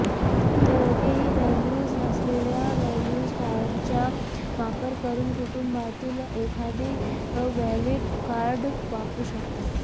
दोघेही व्हॅल्यूज असलेल्या व्हॅल्यूज कार्डचा वापर करून कुटुंबातील एखादी व्हॅलिड कार्ड वापरू शकतात